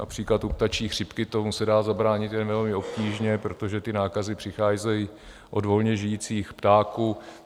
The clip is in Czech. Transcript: Například u ptačí chřipky tomu se dá zabránit jen velmi obtížně, protože ty nákazy přicházejí od volně žijících ptáků.